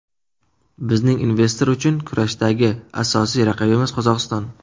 Bizning investor uchun kurashdagi asosiy raqibimiz Qozog‘iston.